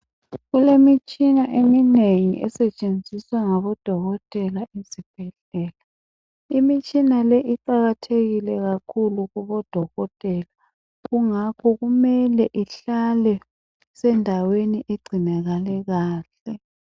Kulemitshina eminengi esetshenziswa ngabodokotela ezibhedlela. Imitshina le iqakathekile kakhulu kubodokotela kungakho kumele ihlale isendaweni engcinakale kahle.